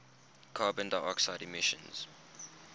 carbon dioxide emissions